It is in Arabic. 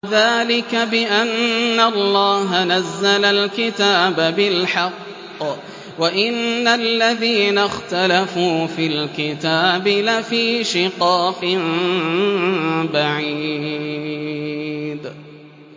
ذَٰلِكَ بِأَنَّ اللَّهَ نَزَّلَ الْكِتَابَ بِالْحَقِّ ۗ وَإِنَّ الَّذِينَ اخْتَلَفُوا فِي الْكِتَابِ لَفِي شِقَاقٍ بَعِيدٍ